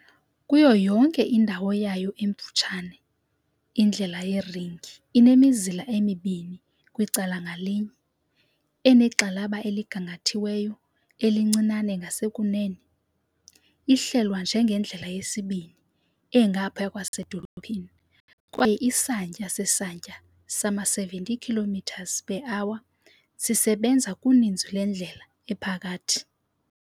Kuyo yonke indawo yayo emfutshane indlela yeringi inemizila emibini kwicala ngalinye, enegxalaba eligangathiweyo elincinane ngasekunene, ihlelwa njengendlela yesibini engaphaya kwasedolophini kwaye isantya sesantya sama-70 km per hour sisebenza kuninzi lwendlela ephakathi.